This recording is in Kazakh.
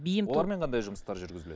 олармен қандай жұмыстар жүргізіледі